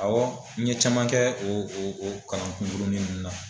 Ɔwɔ n ye caman kɛ o o o kalan kunkurunin ninnu na.